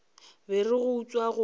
ba re go utswa go